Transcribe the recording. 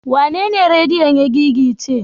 Wanene rediyon ya gigice?